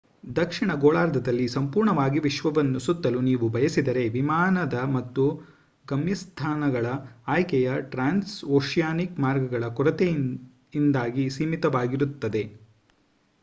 ದಕ್ಷಿಣ ಗೋಳಾರ್ಧದಲ್ಲಿ ಸಂಪೂರ್ಣವಾಗಿ ವಿಶ್ವವನ್ನು ಸುತ್ತಲು ನೀವು ಬಯಸಿದರೆ ವಿಮಾನದ ಮತ್ತು ಗಮ್ಯಸ್ಥಾನಗಳ ಆಯ್ಕೆಯು ಟ್ರಾನ್ಸ್ಓಶಿಯಾನಿಕ್ ಮಾರ್ಗಗಗಳ ಕೊರತೆಯಿಂದಾಗಿ ಸೀಮಿತವಾಗಿರುತ್ತದೆ